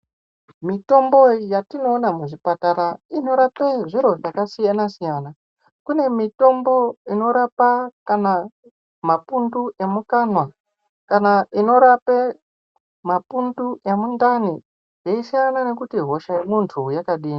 Mitombo yatinoona kuzvipatara inorapa zviro zvakasiyana siyana kune mitombo inorape mapundu emukanwa kana inorape mapundu emundani zveisiya nekuti hosha yemunhu yakadini.